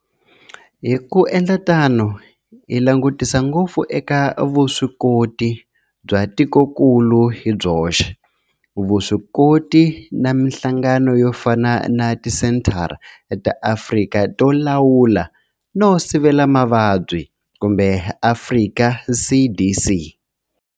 Hi ku endla tano hi langutisa ngopfu eka vuswikoti bya tikokulu hi byoxe, vuswikoti na mihlangano yo fana na Tisenthara ta Afrika to Lawula no Sivela Mavabyi Afrika CDC.